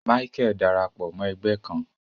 Micheal darapọ Mọ ẹgbẹ kàn